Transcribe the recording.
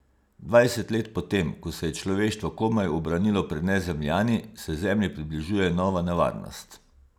Dvajset let po tem, ko se je človeštvo komaj ubranilo pred Nezemljani, se Zemlji približuje nova nevarnost.